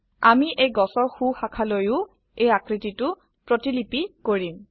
আমি এই গছৰ সো শাখালৈয়ো এই আকৃতিটো প্ৰতিলিপি কৰিম